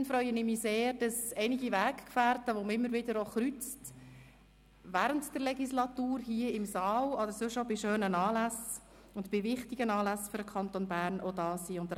Zudem freue ich mich sehr, dass einige Weggefährten, denen man während der Legislatur hier im Saal oder bei schönen und wichtigen Anlässen für den Kanton Bern immer wieder begegnet, ebenfalls anwesend sind.